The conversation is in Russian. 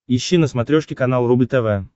ищи на смотрешке канал рубль тв